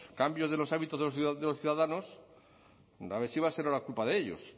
cambios de los hábitos de los ciudadanos a ver si va a ser ahora culpa de ellos